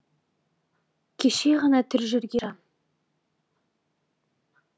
кеше ғана тірі жүрген жан